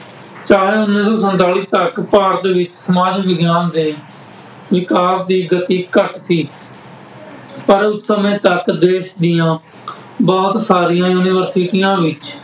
ਚਾਹੇ ਉੱਨੀ ਸੌ ਸੰਤਾਲੀ ਤੱਕ ਭਾਰਤ ਵਿੱਚ ਸਮਾਜ ਵਿਗਿਆਨ ਦੇ ਵਿਕਾਸ ਦੀ ਗਤੀ ਘੱਟ ਸੀ। ਪਰ ਉਸ ਸਮੇਂ ਤੱਕ ਦੇਸ਼ ਦੀਆਂ ਬਹੁਤ ਸਾਰੀਆਂ ਯੂਨੀਵਰਸਿਟੀਆਂ ਵਿੱਚ